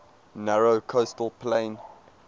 narrow coastal plain